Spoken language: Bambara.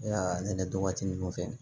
Aa ne don waati ninnu fɛ